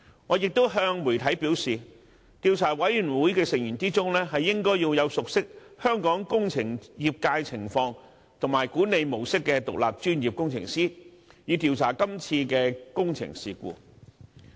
我亦向媒體表示，調查委員會的成員應為熟悉香港工程業界情況和管理模式的獨立專業工程師，以助調查今次的工程事故。